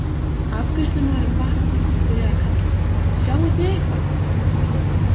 Afgreiðslumaðurinn vaknar og byrjar að kalla: Sjáið þið eitthvað?